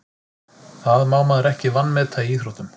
Það má maður ekki vanmeta í íþróttum.